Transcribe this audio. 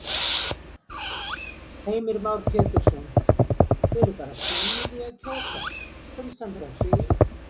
Heimir Már Pétursson: Þið eruð bara snemma í því að kjósa, hvernig stendur á því?